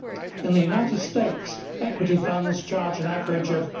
In the United States, equity funds charge an average of